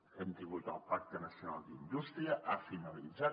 hem tingut el pacte nacional d’indústria ha finalitzat